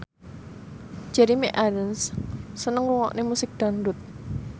Jeremy Irons seneng ngrungokne musik dangdut